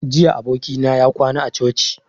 Jiya abokina ya kwana a coci